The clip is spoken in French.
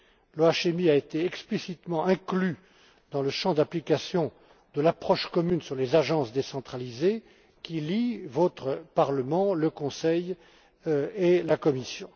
L'OHMI a été explicitement inclus dans le champ d'application de l'approche commune sur les agences décentralisées qui lie votre Parlement, le Conseil et la Commission.